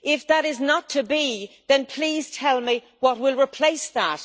If that is not to be, then please tell me what will replace that.